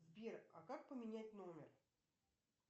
сбер а как поменять номер